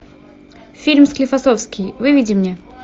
фильм склифосовский выведи мне